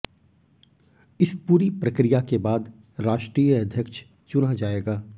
इस पूरी प्रक्रिया के बाद राष्ट्रीय अध्यक्ष चुना जाएगा